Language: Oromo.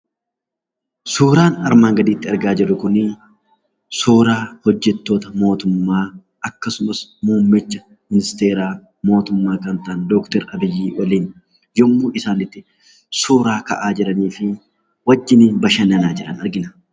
Suuraan armaan gaditti argaa jirru Kun, suuraa hojjettoota mootummaa akkasumas muummicha ministeera mootummaa kan ta'an Doktor Abiyyii waliin yemmuu isaan itti suuraa ka'aa jiranii fi wajjiniin bashannanaa jiran argina.